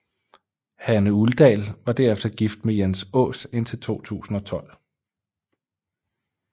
Hanne Uldal var derefter gift med Jens Aas indtil 2012